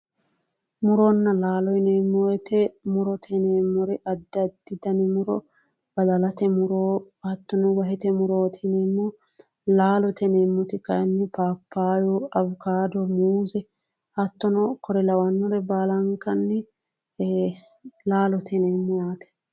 Muronna laalo yineemmo woyiite murote yineemmori addi addi dani muro, badalate muro hattono wahete murooti yineemmo. Laalote yineemmoti kaayiinni paappayyu awukaado muuze hattono kore lawannore baalankanni laalote yineemmo yaate.